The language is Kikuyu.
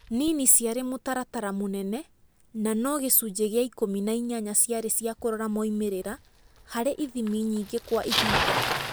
Nini ciarĩ mũtaratara mũnene, na no gĩcunjĩ gĩa ikũmi na inyanya ciarĩ cia kũrora moimĩrĩra harĩ ithimi nyingĩ kwa ihida.